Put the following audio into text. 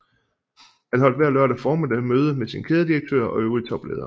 Han holdt hver lørdag formiddag møde med sine kædedirektører og øvrige topledere